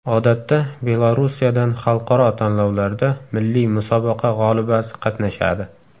Odatda Belorussiyadan xalqaro tanlovlarda milliy musobaqa g‘olibasi qatnashadi.